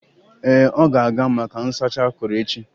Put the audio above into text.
Ee, ọ ga-aga maka nsacha akuru echi.